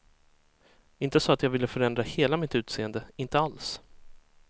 Inte så att jag ville förändra hela mitt utseende, inte alls.